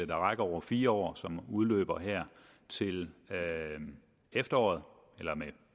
der rækker over fire år og som udløber her til efteråret eller med